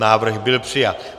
Návrh byl přijat.